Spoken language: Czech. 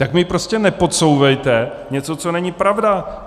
Tak mi prostě nepodsouvejte něco, co není pravda.